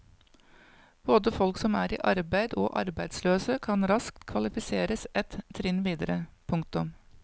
Både folk som er i arbeid og arbeidsløse kan raskt kvalifiseres ett trinn videre. punktum